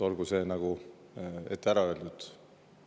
Olgu see ette ära öeldud.